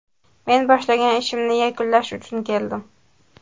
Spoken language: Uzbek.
Men boshlagan ishimni yakunlash uchun keldim.